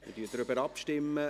Wir stimmen darüber ab.